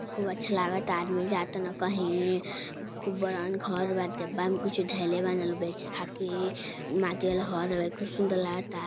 खूब अच्छा लागता आदमी जा ताड़न कहीं खूब बड़हन घर बाटे डब्बा में कुछ धइले बाड़न लोग बेचे खातिर माटी वाला हॉल हउए खूब सुन्दर लागता --